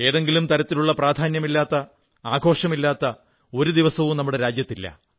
ഏതെങ്കിലും തരത്തിലുള്ള പ്രാധാന്യമില്ലാത്ത ആഘോഷമില്ലാത്ത ഒരു ദിവസവും നമ്മുടെ രാജ്യത്തില്ല